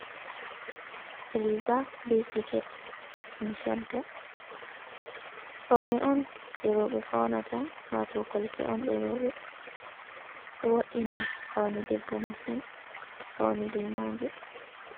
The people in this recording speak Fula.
Riga be siket ɗum chadda, faune on ɗe rowɓe faunata wato kolte on de rowɓe ɗo wo’ina faune debbo masin to fauni be maje.